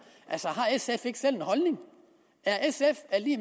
har sf ikke selv en holdning